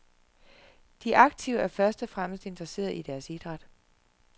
De aktive er først og fremmest interesseret i deres idræt.